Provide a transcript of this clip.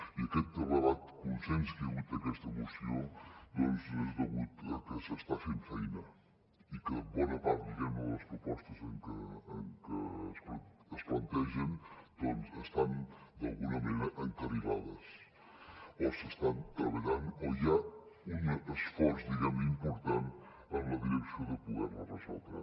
i aquest elevat consens que hi ha hagut a aquesta moció doncs és degut a que s’està fent feina i que bona part diguem ne de les propostes que es plantegen doncs estan d’alguna manera encarrilades o s’estan treballant o hi ha un esforç important en la direcció de poder les resoldre